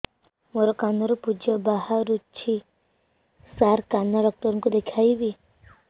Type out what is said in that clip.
ମୋ କାନରୁ ପୁଜ ବାହାରୁଛି ସାର କାନ ଡକ୍ଟର କୁ ଦେଖାଇବି